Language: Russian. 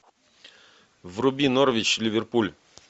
вруби норвич ливерпуль